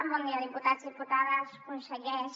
bon dia diputats diputades consellers